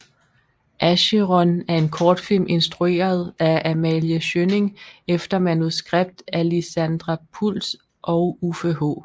Acheron er en kortfilm instrueret af Amalie Schjønning efter manuskript af Lizandra Pultz og Uffe H